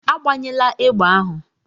Agbanyela egbe ahu!